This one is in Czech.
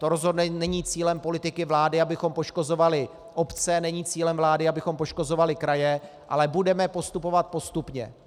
To rozhodně není cílem politiky vlády, abychom poškozovali obce, není cílem vlády, abychom poškozovali kraje, ale budeme postupovat postupně.